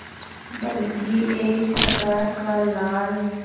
बल्कि एक प्रकार का लाल